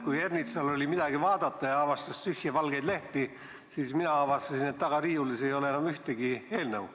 Kui Ernitsal oli midagi vaadata ja ta avastas tühje valgeid lehti, siis mina avastasin, et taga riiulis ei ole enam ühtegi eelnõu.